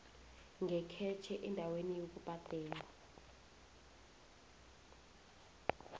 ngekhetjhe endaweni yokubhadela